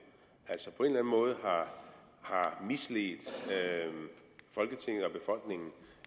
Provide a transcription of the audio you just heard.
at måde har misledt folketinget og befolkningen